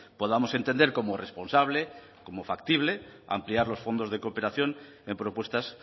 podamos entender como responsable como factible ampliar los fondos de cooperación en propuestas